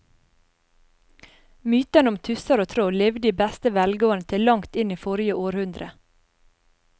Mytene om tusser og troll levde i beste velgående til langt inn i forrige århundre.